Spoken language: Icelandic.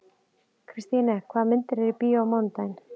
Kristine, hvaða myndir eru í bíó á mánudaginn?